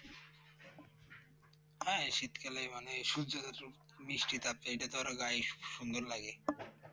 হ্যাঁ শীতকালে মানে সূর্যের একটু মিষ্টি তাপ দেয় তাতে গায়ে সুন্দর লাগে